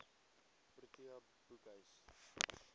protea boekhuis